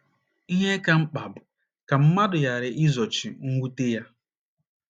Ihe ka mkpa bụ ka mmadụ ghara izochi mwute ya.